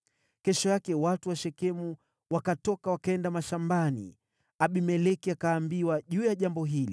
Kesho yake watu wa Shekemu wakatoka wakaenda mashambani, Abimeleki akaambiwa juu ya jambo hili.